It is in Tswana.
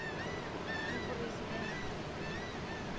moporesidente